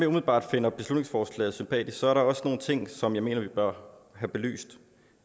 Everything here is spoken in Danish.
umiddelbart finder beslutningsforslaget sympatisk er der også en ting som jeg mener vi bør have belyst